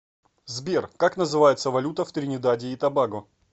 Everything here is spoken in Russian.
сбер как называется валюта в тринидаде и тобаго